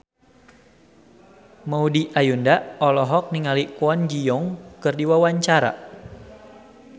Maudy Ayunda olohok ningali Kwon Ji Yong keur diwawancara